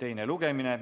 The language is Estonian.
teine lugemine.